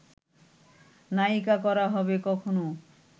নায়িকা করা হবে কখনও